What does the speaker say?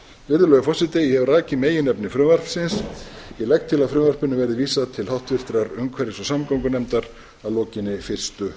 virðulegur forseti ég hef rakið meginefni frumvarpsins ég legg til að frumvarpinu verði vísað til háttvirtrar umhverfis og samgöngunefndar að lokinni fyrstu